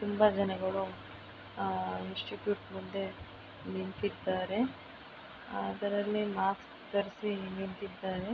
ತುಂಬಾ ಜನ ಹೇಳೋ ಆ ಇನ್ಸ್ಟಿಟ್ಯೂಟ್ ಮುಂದೆ ನಿಂತಿದ್ದಾರೆ. ಆದರೆ ಅಲ್ಲಿ ಮಾಸ್ಕ್ ಧರಿಸಿ ನಿಂತಿದ್ದಾರೆ.